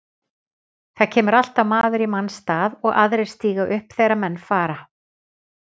Það kemur alltaf maður í manns stað og aðrir stíga upp þegar menn fara.